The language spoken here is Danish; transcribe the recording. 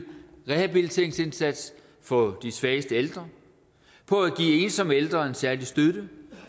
rehabiliteringsindsatsen for de svageste ældre på at give ensomme ældre en særlig støtte